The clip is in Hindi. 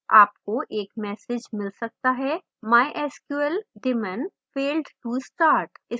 आपको एक message mysql सकता है mysql daemon failed to start